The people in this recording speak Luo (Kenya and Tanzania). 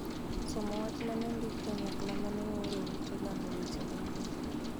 somo wach ma ne ondiki kanyakla ma ne ooro e ute lando weche machien.